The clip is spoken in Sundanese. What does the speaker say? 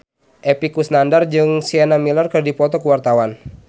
Epy Kusnandar jeung Sienna Miller keur dipoto ku wartawan